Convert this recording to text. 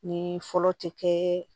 Ni fɔlɔ tɛ kɛ